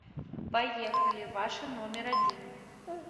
поехали ваша номер один